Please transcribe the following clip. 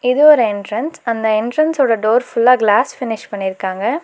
இது ஒரு எண்ட்ரன்ஸ் அந்த எண்ட்ரன்ஸோட டோர் ஃபுல்லா கிளாஸ் ஃபினிஷ் பண்ணிருக்காங்க.